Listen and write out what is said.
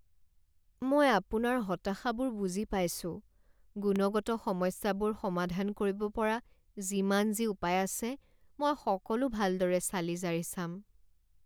মই আপোনাৰ হতাশাবোৰ বুজি পাইছোঁ গুণগত সমস্যাবোৰ সমাধান কৰিব পৰা যিমান যি উপায় আছে মই সকলো ভালদৰে চালি জাৰি চাম।